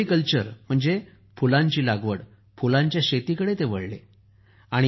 floriculture म्हणजे फुलांची लागवड फुलांच्या शेतीकडे ते वळले